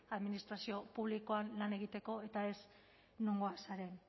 administrazio publikoan lan egiteko eta ez nongoa zaren